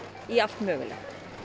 í allt mögulegt